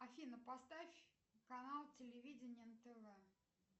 афина поставь канал телевидения нтв